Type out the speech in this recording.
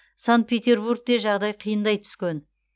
санкт петербургте жағдай қиындай түскен